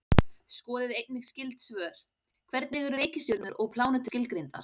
Skoðið einnig skyld svör: Hvernig eru reikistjörnur og plánetur skilgreindar?